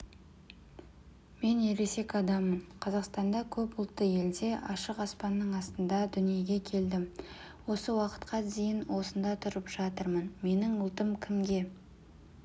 мен ересек адаммын қазақстанда көп ұлтты елде ашық аспанның астында дүниеге келдім осы уақытқа дейін осында тұрып жатырмын менің ұлтым кімге